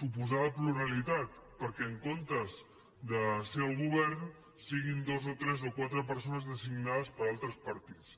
suposada pluralitat perquè en comptes de ser el govern siguin dos o tres o quatre persones designades per altres partits